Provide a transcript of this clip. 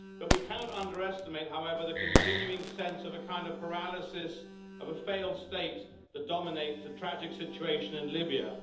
We cannot underestimate, however, the continuing sense of a kind of paralysis of a failed state that dominates the tragic situation in Libya.